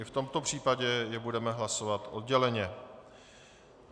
I v tomto případě je budeme hlasovat odděleně.